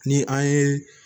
Ni an ye